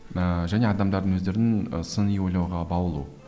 ыыы және адамдардың өздерінің і сыни ойлауға баулу